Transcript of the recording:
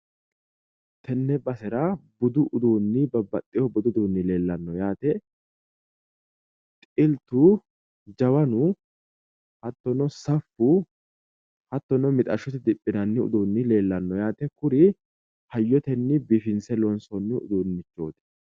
tenne basera babaxewohu budu uduunni leellanno yaate xiltu, jawanu, hattono saffu hattono mixashshote diphinanni uduunni leellanno yaate kuri hayyotenni biifinse loonsoonni uduunnichooti.